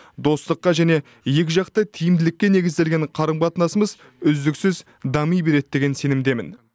достыққа және екіжақты тиімділікке негізделген қарым қатынасымыз үздіксіз дами береді деген сенімдемін